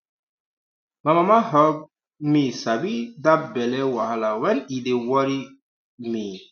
my mama help um me sabi that belly wahala when e dey worry um me